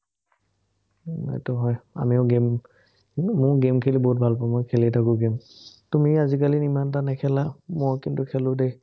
উম এইটো হয়, আমিও game কিন্তু, মোৰ game খেলি মই বহুত ভাল পাওঁ, মই খেলিয়ে থাকো game তুমি আজিকালি ইমান এটা নেখেলা। মই কিন্তু, খেলো দেই।